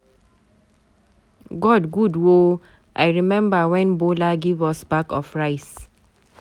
God good oo. I remember wen Bola give us bag of rice